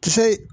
Fɛ